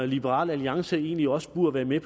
liberal alliance egentlig også burde være